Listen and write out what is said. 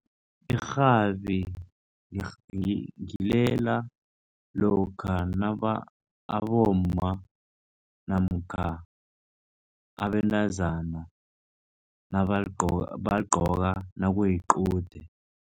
Irhabi ngilela lokha abomma namkha abentazana bagcoka nakuyiqude.